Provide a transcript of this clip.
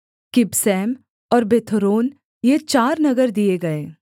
किबसैम और बेथोरोन ये चार नगर दिए गए